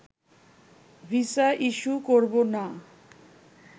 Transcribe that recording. visa issue করবোনা